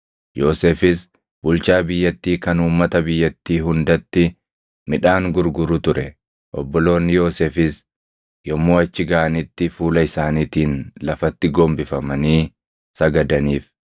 Yoosefis bulchaa biyyattii kan uummata biyyattii hundatti midhaan gurguru ture. Obboloonni Yoosefis yommuu achi gaʼanitti fuula isaaniitiin lafatti gombifamanii sagadaniif.